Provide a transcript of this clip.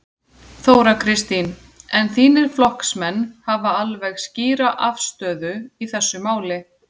Þóra Kristín: En þínir flokksmenn hafa alveg skýra afstöðu í þessu máli?